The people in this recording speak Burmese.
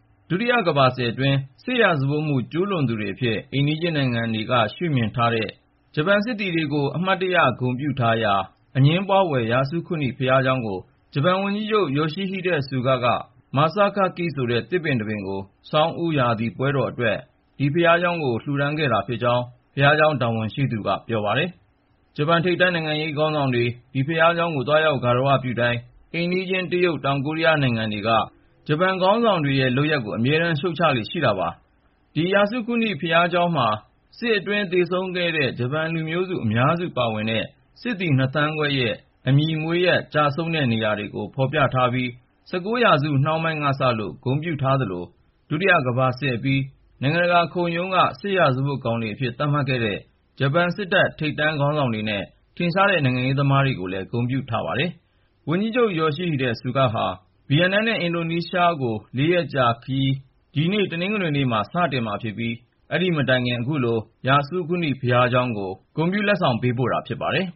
ဒုတိယကမ္ဘာစစ်အတွင်း စစ်ရာဇဝတ်မှု ကျူးလွန်သူတွေအဖြစ် အိမ်နီးချင်းနိုင်ငံတွေက ရှုမြင်ထားတဲ့ ဂျပန်စစ်သည်တွေကို အမှတ်တရ ဂုဏ်ပြုထားရာ အငြင်းပွားဖွယ် ယာဆုခုနိ ဘုရားကျောင်းအတွက် စနေနေ့က ဂျပန်ဝန်ကြီးချုပ် Yoshihide Suga ဂါရဝပြုတဲ့ လက်ဆောင်တခု ပေးပို့လိုက်ပါတယ်။ ဝန်ကြီးချုပ် Yoshihide Suga က "masakaki" ဆိုတဲ့ သစ်ပင်တပင်ကို ဆောင်းဦးရာသီ ပွဲတော်အတွက် ဒီဘုရားကျောင်းကို ပေးပို့ လှူဒါန်းခဲ့ကြောင်း ဘုရားကျောင်း တာဝန်ရှိသူတဦးက ပြောပါတယ်။ ဂျပန် ထိပ်တန်းနိုင်ငံရေး ခေါင်းဆောင်တွေ ဒီဘုရားကျောင်းကို သွားရောက် ဂါရဝပြုတိုင်း အိမ်နီးချင်း တရုတ်၊ တောင်ကိုရီးယား စတဲ့နိုင်ငံတွေက ဂျပန်ခေါင်းဆောင်တွေရဲ့ လုပ်ရပ်ကို အမြဲတမ်း ရှုတ်ချလေ့ရှိတာပါ။ အဲဒီ ယာဆုခုနိ ဘုရားကျောင်းမှာ စစ်အတွင်း သေဆုံးခဲ့တဲ့ ဂျပန်လူမျိုး အများစုပါတဲ့ စစ်သည် ၂ သန်းခွဲရဲ့ အမည်၊ မွေးရပ်၊ ကျဆုံးခဲ့တဲ့ နေရာတွေကို ဖော်ပြထားပြီး ၁၉ ရာစု နှောင်းပိုင်းကစလို့ ဂုဏ်ပြုထားသလို ဒုတိယကမ္ဘာစစ်အပြီး နိုင်ငံတကာခုံရုံးက စစ်ရာဇဝတ်ကောင်တွေအဖြစ် သတ်မှတ်ခဲ့တဲ့ ဂျပန်စစ်တပ် ထိပ်ပိုင်းခေါင်းဆောင်တွေနဲ့ ထင်ရှားတဲ့ နိုင်ငံရေးသမားတွေကိုပါ ဂုဏ်ပြုထားပါတယ်။ ဝန်ကြီးချုပ် Yoshihide Suga ဟာ ဗီယက်နမ်နဲ့ အင်ဒိုနီးရှား ၄ ရက်ကြာခရီးစဉ်ကို ဒီနေ့ တနင်္ဂနွေနေ့မှာ စတင်မှာဖြစ်ပြီး အဲဒီမတိုင်ခင် ယာဆုခုနိ ဘုရားကျောင်းကို ခုလို ဂုဏ်ပြုလက်ဆောင် ပေးပို့တာ ဖြစ်ပါတယ်